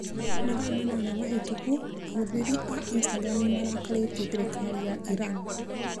Mathaa manana mahĩtũku ahũthĩri a Instagram nĩ marakarĩtie thirikari ya Iran.